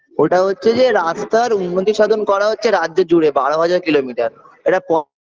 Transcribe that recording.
ওটা হচ্ছে যে রাস্তার উন্নতি সাধন করা হচ্ছে রাজ্য জুড়ে বারো হাজার kilometre এটা প